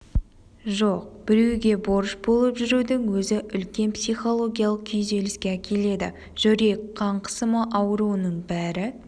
жоқ біреуге борыш болып жүрудің өзі үлкен психологиялық күйзеліске әкеледі жүрек қан қысымы ауруының бәрі